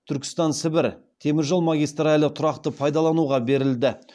түркістан сібір темір жол магистралі тұрақты пайдалануға берілді